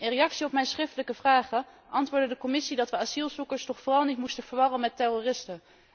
In reactie op mijn schriftelijke vragen antwoordde de Commissie dat we asielzoekers toch vooral niet moesten verwarren met terroristen.